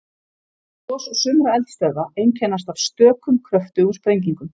Gos sumra eldstöðva einkennast af stökum kröftugum sprengingum.